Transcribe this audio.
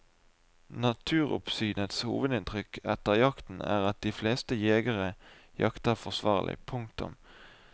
Naturoppsynets hovedinntrykk etter jakten er at de fleste jegere jakter forsvarlig. punktum